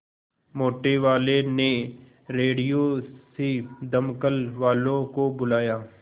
मोटेवाले ने रेडियो से दमकल वालों को बुलाया